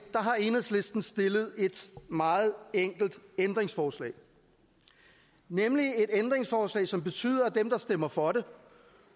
har enhedslisten stillet et meget enkelt ændringsforslag nemlig et ændringsforslag som betyder at dem der stemmer for det